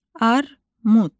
Armud.